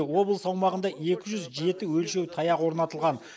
облыс аумағында екі жүз жеті өлшеу таяғы орнатылған